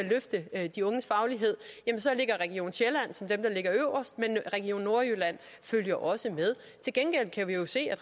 at løfte de unges faglighed så ligger øverst men region nordjylland følger også med til gengæld kan vi jo se at